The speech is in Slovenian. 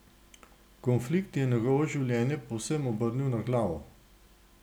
Konflikt je njegovo življenje povsem obrnil na glavo.